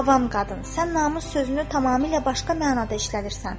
Avam qadın, sən namus sözünü tamamilə başqa mənada işlədirsən.